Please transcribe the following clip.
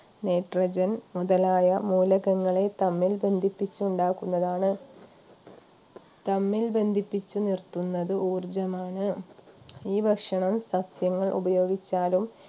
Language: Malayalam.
nitrogen മുതലായ മൂലകങ്ങളെ തമ്മിൽ ബന്ധിപ്പിച്ചുണ്ടാക്കുന്നതാണ് തമ്മിൽ ബന്ധിപ്പിച്ചു നിർത്തുന്നത് ഊർജ്ജമാണ് ഈ ഭക്ഷണം സസ്യങ്ങൾ ഉപയോഗിച്ചാലും